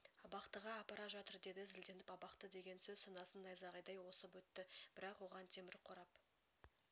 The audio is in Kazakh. абақтыға апара жатыр деді зілденіп абақты деген сөз санасын найзағайдай осып өтті бірақ оған темір қорап